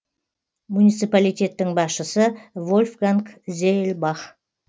муниципалитеттің басшысы вольфганг зеельбах